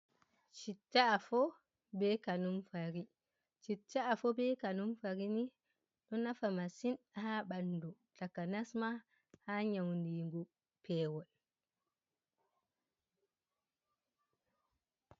Chitta afo be kanumfarini. Ɗo nafa masin ha banɗu. Taka nasma ha nyauningu pewol.